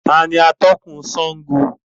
Taàní atọ̀kun Sángo?